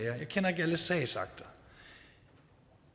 jeg sagsakter